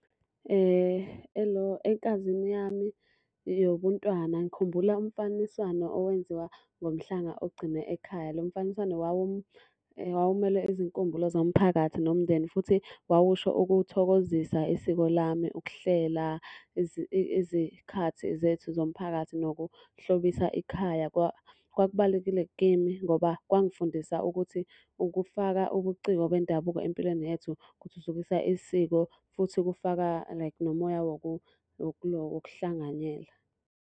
Elo ekazini yami yobuntwana ngikhumbula umfaniswano owenziwa ngomhlanga ogcine ekhaya. Lo mfaniswano wawumele izinkumbulo zomphakathi nomndeni futhi wawusho ukuthokozisa isiko lami. Ukuhlela izikhathi zethu zomphakathi nokuhlobisa ikhaya. Kwakubalulekile kimi ngoba kwangifundisa ukuthi ukufaka ubuciko bendabuko empilweni yethu kuthuthukisa isiko futhi kufaka like nomoya wokuhlanganyela